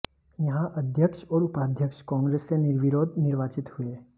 यहां अध्यक्ष और उपाध्यक्ष कांग्रेस से निर्विरोध निर्वाचित हुए